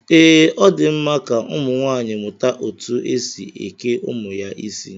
Ee, Ọ di mma ka ụmụnwaanyị mụta etu e si eke ụmụ ya isi